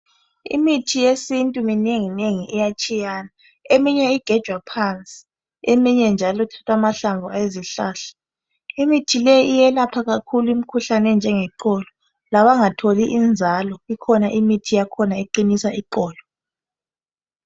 Imithi yesintu minengi njalo iyatshiyana. Eminye igejwa phansi eminye njalo kuthathwa amahlamvu ezihlahla. Imithi le iyelapha kakhulu imikhuhlane enjengeqolo labangatholi inzalo ikhona imithi yakhona eqinisa iqolo.